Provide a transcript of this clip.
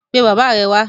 Pe bàbá rẹ wá.